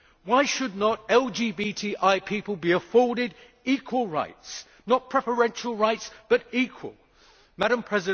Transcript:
Why should not LGBTI people be afforded equal rights not preferential rights, but equal rights?